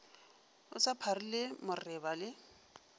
o sa pharile moreba le